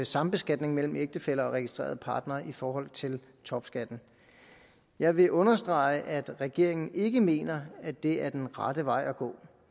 sambeskatning mellem ægtefæller og registrerede partnere i forhold til topskatten jeg vil understrege at regeringen ikke mener at det er den rette vej at gå